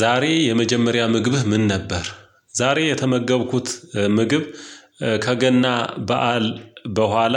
ዛሬ የመጀመሪያ ምግብህ ምን ነበር? ዛሬ የተመገብኩት ምግብ ከገና በዓል በኋላ